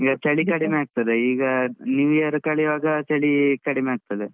ಈಗ ಚಳಿ ಕಡಿಮೆ ಆಗ್ತದೆ. ಈಗ new year ಕಳಿವಾಗ ಚಳೀ ಕಡಿಮೆ ಆಗ್ತದೆ.